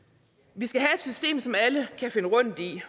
vi skal have et system som alle kan finde rundt i